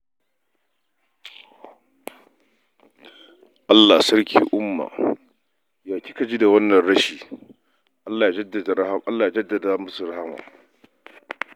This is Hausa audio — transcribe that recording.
Allah Sarki Umma, ya kika ji da wannan rashi, Allah ya jaddada musu rahama.